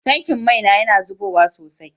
Tankin mai na yana zubowa sosai.